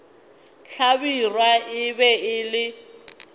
hlabirwa e be e le